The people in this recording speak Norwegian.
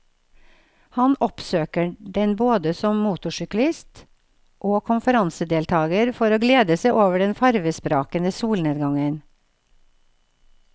Han oppsøker den både som motorsyklist og konferansedeltager for å glede seg over den farvesprakende solnedgangen.